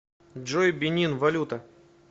джой бенин валюта